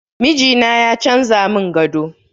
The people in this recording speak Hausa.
Mijina ya canza mun gado